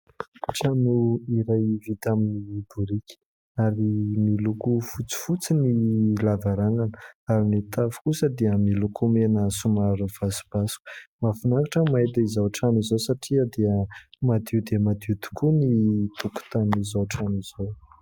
Trano iray vita amin'ny biriky ary miloko fotsifotsy ny lavarangana ary ny tafo kosa dia miloko mena somary vasobasoka. Mahafinaritra mahita izao trano izao satria dia madio dia madio tokoa ny tokotanin'izao trano izao.